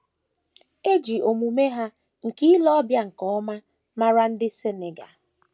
E ji omume ha nke ile ọbịa nke ọma mara ndị Senegal.